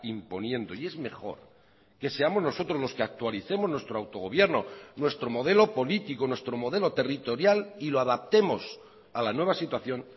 imponiendo y es mejor que seamos nosotros los que actualicemos nuestro autogobierno nuestro modelo político nuestro modelo territorial y lo adaptemos a la nueva situación